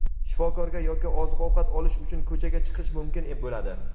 shifokorga yoki oziq-ovqat olish uchun ko‘chaga chiqish mumkin bo‘ladi.